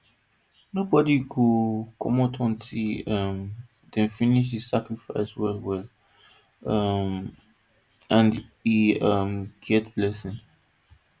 nobody go comot until um dem finish the sacrifice well well um and e um get blessing